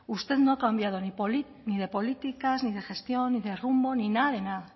usted no ha cambiado ni de políticas ni de gestión ni de rumbo ni nada de nada